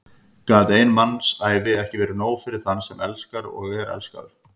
Gat ein mannsævi ekki verið nóg fyrir þann sem elskar og er elskaður?